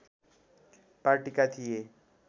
पार्टीका थिए